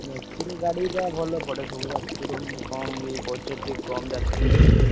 ଯାଜପୁର ଗାଡିଟା ଭଲ ପଡେ ସବୁ ଯାଜପୁରର କମ୍ ବି budget ଟିକେ କମ୍ ଯାଜପୁରର ସବୁଠାରୁ।